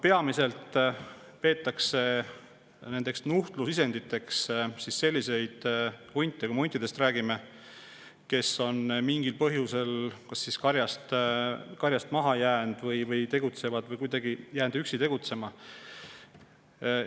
Peamiselt peetakse nuhtlusisenditeks selliseid hunte – kui me huntidest räägime –, kes on mingil põhjusel kas karjast maha jäänud või kuidagi üksi tegutsema jäänud.